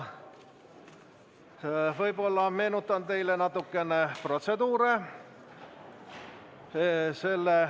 Meenutan teile natukene protseduure.